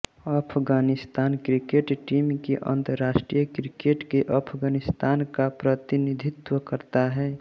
Afghanistan cricket team अंतरराष्ट्रीय cricket में अफ़ग़ानिस्तान का प्रतिनिधित्व करता है